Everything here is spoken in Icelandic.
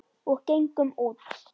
Og gengum út.